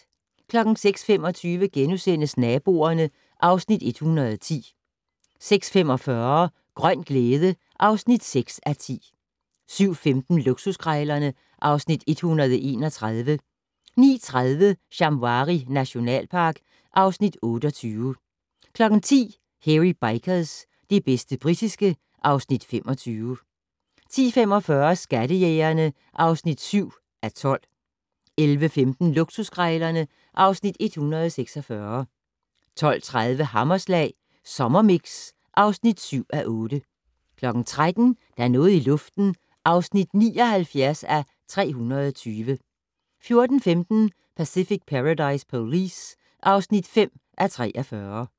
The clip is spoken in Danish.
06:25: Naboerne (Afs. 110)* 06:45: Grøn glæde (6:10) 07:15: Luksuskrejlerne (Afs. 131) 09:30: Shamwari nationalpark (Afs. 28) 10:00: Hairy Bikers - det bedste britiske (Afs. 25) 10:45: Skattejægerne (7:12) 11:15: Luksuskrejlerne (Afs. 146) 12:30: Hammerslag Sommermix (7:8) 13:00: Der er noget i luften (79:320) 14:15: Pacific Paradise Police (5:43)